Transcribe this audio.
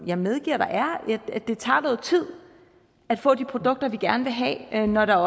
jeg medgiver der er det tager noget tid at få de produkter vi gerne vil have når der